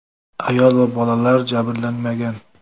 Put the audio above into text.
Ayol va bolalar jabrlanmagan.